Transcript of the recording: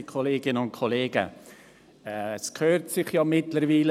Es gehört sich ja mittlerweile.